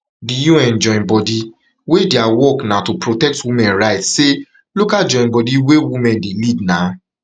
di un joinbodi wey dia work na to protect women rights say local joinbodi wey women women dey lead na